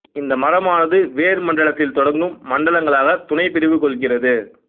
இந்த மரமானது வேர் மண்டலத்தில் தொடங்கும் மண்டலங்களாக துணைப் பிரிவு கொள்கிறது